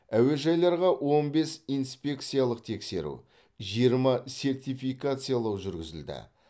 әуежайларға он бес инспекциялық тексеру жиырма сертификациялау жүргізілді